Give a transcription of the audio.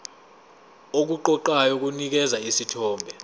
okuqoqayo kunikeza isithombe